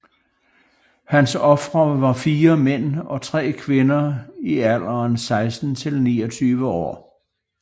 Hans ofre var 4 mænd og 3 kvinder i alderen 16 til 29 år